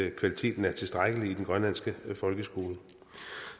at kvaliteten er tilstrækkelig i den grønlandske folkeskole